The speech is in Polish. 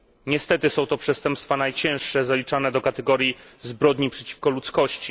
Niestety, są to przestępstwa najcięższe, zaliczane do kategorii zbrodni przeciwko ludzkości.